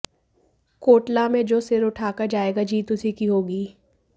कोटला में जो सिर उठाकर जाएगा जीत उसी की होगी